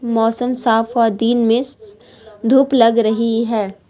मौसम साफ और दिन में धूप लग रही है।